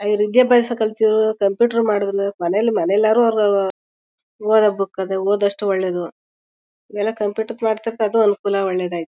ವಿದ್ಯಾಭ್ಯಾಸ ಕಲ್ತ್ವರು ಕಂಪ್ಯೂಟರ್ ಮಾಡಿದ್ ಮೇಲ್ ಮನೇಲ್ ಮನೇಲಾದ್ರು ಅವರ ಓದೋ ಬುಕ್ ಅಲ್ಲಿ ಓಧ್ ಅಷ್ಟು ಒಳ್ಳೇದು ಎಲ್ಲ ಕಂಪ್ಯೂಟರ್ ಮಾಡ್ತಿರದು ಅದು ಅನುಕೂಲ ಒಳ್ಳೆದಾಯ್ತು